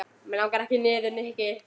Mig langar ekki niður, Nikki.